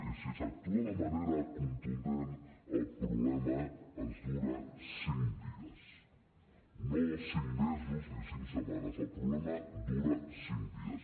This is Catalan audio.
i si s’actua de manera contundent el problema ens dura cinc dies no cinc mesos ni cinc setmanes el problema dura cinc dies